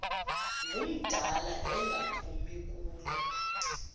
ngumdala engaphumi kulo